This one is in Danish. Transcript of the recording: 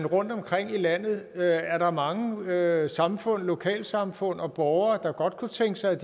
rundtomkring i landet er er mange lokalsamfund lokalsamfund og borgere der godt kunne tænke sig at